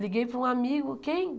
Liguei para um amigo, quem?